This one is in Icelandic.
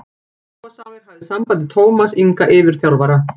Áhugasamir hafi samband við Tómas Inga yfirþjálfara.